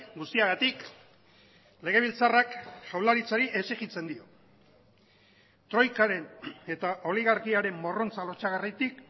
guztiagatik legebiltzarrak jaurlaritzari exijitzen dio troikaren eta oligarkiaren morrontza lotsagarritik